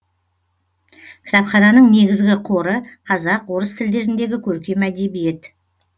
кітапхананың негізгі қоры қазақ орыс тілдеріндегі көркем әдебиет